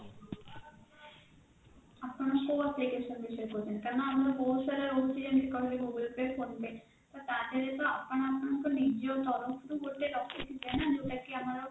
ଆପଣ କଉ application ବିଷୟରେ କହୁଛନ୍ତି କାରଣ ଆମର ବହୁତ ସାରା ରହୁଛି ଯେମିତି କହିଲି google pay phone pay ତାଧିରେ ତ ଆପଣ ଆପଣକର ନିଜ ତରଫରୁ ଗୋଟେ ରଖିଥିବେ ନା ଯଉଟା କି ଆମରର